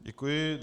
Děkuji.